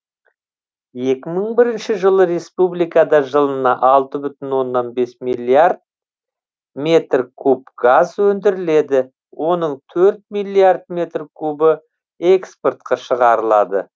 екі мың бірінші жылы республикада жылына алты бүтін оннан бес миллиард метр куб газ өндіріледі оның төрт миллиард метр кубі экспортқа шығарылады